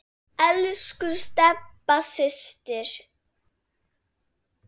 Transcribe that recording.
Aldrei jafn skítt hjá öðrum.